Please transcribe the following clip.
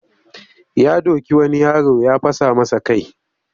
Ya doki wani yaro ya fasa masa kai